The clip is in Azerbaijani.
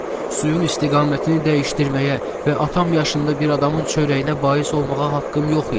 Suyun istiqamətini dəyişdirməyə və atam yaşında bir adamın çörəyinə bais olmağa haqqım yox idi.